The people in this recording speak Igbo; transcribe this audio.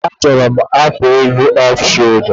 Mba, achọrọ m akwa elu off sholda